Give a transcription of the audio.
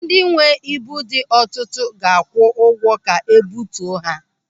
Ndị nwee ibu dị ọtụtụ ga-akwụ ụgwọ ka ebutuo ha.